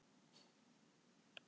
Og ég var sátt við það.